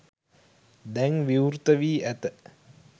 දැන් විවෘත වී ඇත